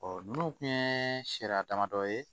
Ɔ ninnu tun ye sariya damadɔ ye